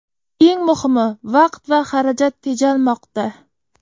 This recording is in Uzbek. Eng muhimi, vaqt va xarajat tejalmoqda.